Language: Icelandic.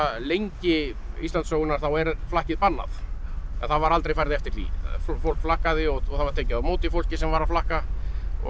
lengi Íslandssögunnar þá er flakkið bannað en það var aldrei farið eftir því fólk flakkaði og það var tekið á móti fólki sem var að flakka og